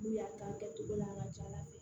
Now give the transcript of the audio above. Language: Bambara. N'u y'a k'a kɛcogo la an ka ca ala fɛ